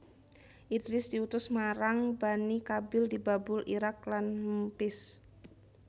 Idris diutus marang Bani Qabil di Babul Iraq lan Memphis